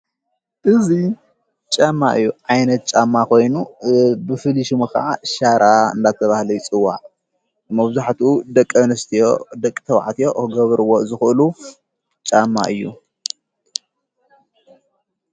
እዙይ ጫማ እዩ ዓይነት ጫማ ኾይኑ ብፍሊሹሚ ኸዓ ሻራ እንዳተብሃለ ኣይጽዋ መውዙሕቱ ደቀ ንስትዮ ደቂ ተዉዕትዮ ሕገብርዎ ዘዂሉ ጫማ እዩ።